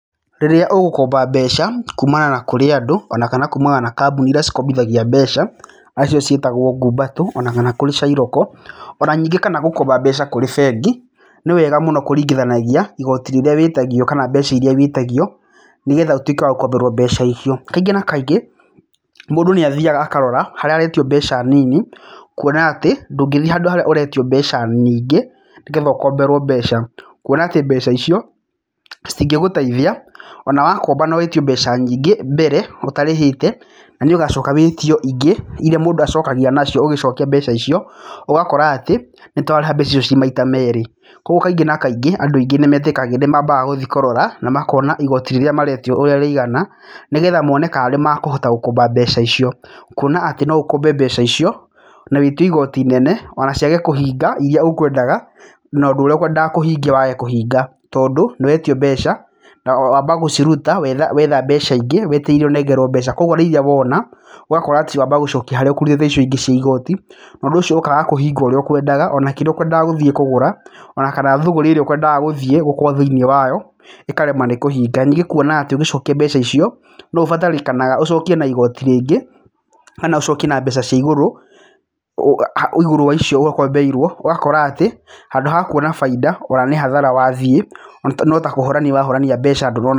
Rĩrĩa ũgũkomba mbeca, kumana na kũrĩ andũ ona kana kumana na kambuni irĩa cikombithagia mbeca, arĩ cio ciĩtagwo ngumbato, ona kana kũrĩ cairoko. Ona nyingĩ kana gũkomba mbeca kũrĩ bengi, nĩ wega mũno kũringithanagia, igoti rĩrĩa wĩtagio kana mbeca iríĩ wĩtagio, nĩgetha ũtuĩke wa gũkomberwo mbeca icio. Kaingĩ na kaingĩ, mũndũ nĩ athiaga akarora, harĩa aretio mbeca nini, kuona atĩ, ndũngĩthi handũ harĩa ũretio mbeca nyingĩ, nĩgetha ũkomberwo mbeca. Kuona atĩ mbeca icio, citingĩgũteithia, ona wakomba na wĩtio mbeca nyingĩ, mbere, ũtarĩhĩte na nĩ ũgacoka wĩtio ingĩ irĩa mũndũ acokagia nacio ũgĩcokia mbeca icio, ũgakora atĩ, nĩ ta ũrarĩha mbeca icio ci maita meerĩ. Koguo kaingĩ na kaingĩ, andũ aingĩ nĩ metikagia nĩ mambaga gũthi kũrora, na makona igoti rĩrĩa maretio ũrĩa rĩigana, nĩgetha mone kana nĩ makũhota gũkomba mbeca icio. Kuona atĩ no ũkombe mbeca icio, na wĩtio igoti inene, ona ciage kũhinga irĩa ũkũendaga, na ũndũ ũrĩa ũkũendaga kũhingia wage kũhinga. Tondũ, nĩ wetio mbeca, na wamba gũciruta wetha wetha mbeca ingĩ, wetereire ũnengerwo mbeca. Koguo nĩ irĩa wona, ũgakora atĩ wamba gũcokia harĩa ũkũrutĩte icio ingĩ cia igoti, na ũndũ ũcio ũkaga kũhinga ũrĩa ũkũendaga ona kĩrĩa ũkũendaga gũthi kũgũra, ona kana thũgũrĩ ĩrĩa ũkũendaga gũthiĩ gũkũ thĩiniĩ wayo, ĩkarema nĩ kũhinga, Nyingĩ kuona atĩ ũgĩcokia mbeca icio, no ũbatarĩkanaga ũcokie na igoti rĩngĩ, kana ũcoki na mbeca cia igũrũ igũrũ wa icio we ũkombeirwo. Ũgakora atĩ, handũ ha kuona bainda, ona nĩ hathara wathiĩ, no ta kũhorani wahorani mbeca ndũnona...